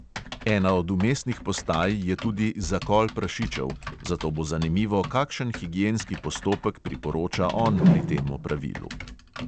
Ena od vmesnih postaj je tudi zakol prašičev, zato bo zanimivo, kakšen higienski postopek priporoča on pri tem opravilu.